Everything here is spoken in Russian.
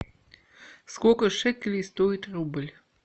сколько шекелей стоит рубль